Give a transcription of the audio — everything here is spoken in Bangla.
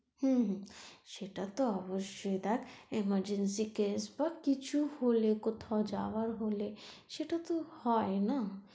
হুম হুম সেটা তো অবশ্যই দেখ emergency case বা কিছু হলে কোথাও যাওয়ার হলে সেটা তো হয় না?